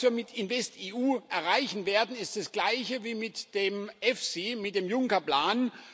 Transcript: Was wir mit InvestEU erreichen werden, ist das gleiche wie mit dem EFSI, mit dem Juncker Plan.